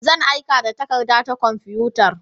Zan aika da takarda ta kwamfutar.